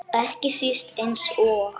Ekki síst eins og